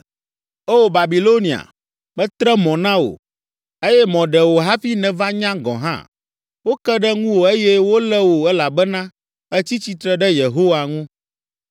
O Babilonia, metre mɔ na wò eye mɔ ɖe wò hafi nèva nya gɔ̃ hã. Woke ɖe ŋuwò eye wolé wò elabena ètsi tsitre ɖe Yehowa ŋu.